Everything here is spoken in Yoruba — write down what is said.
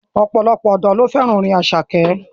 Ọ̀pọ̀lọpọ̀ ọ̀dọ́ fẹ́ràn orin Àṣàkẹ́.